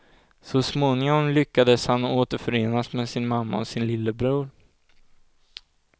Så småningom lyckades han återförenas med sin mamma och sin lillebror.